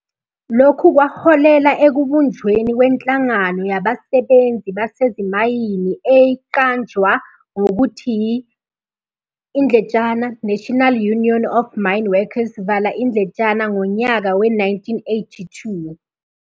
Lokhu kwaholela ekubunjweni kwenhlangano yabasebenzi basezimayini eyqanajwa mgokuthi i-"National Union of Mineworkers" ngonyaka we-1982.